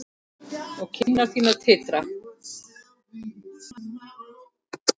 Og kinnar þínar titra.